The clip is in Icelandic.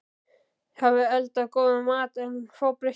hafi eldað góðan mat en fábreyttan.